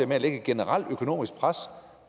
med at lægge et generelt økonomisk pres